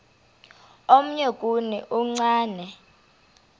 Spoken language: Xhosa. omnye kuni uchane